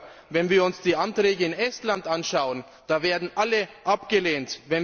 Oder wenn wir uns die Anträge in Estland anschauen Da werden alle abgelehnt.